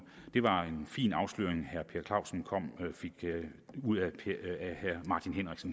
det var en fin afsløring herre per clausen fik ud af